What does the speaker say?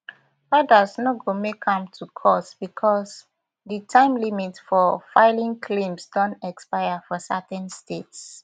odas no go make am to court becos di time limit for filing claims don expire for certain states